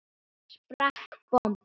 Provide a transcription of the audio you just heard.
Svo sprakk bomban.